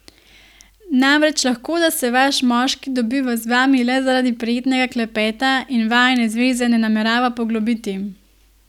Namreč, lahko da se vaš moški dobiva z vami le zaradi prijetnega klepeta in vajine zveze ne namerava poglobiti.